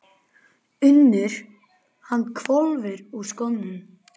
UNNUR: Hann hvolfir úr skónum.